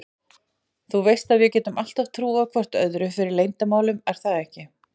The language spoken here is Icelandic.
Þú veist að við getum alltaf trúað hvor öðrum fyrir leyndarmálum er það ekki?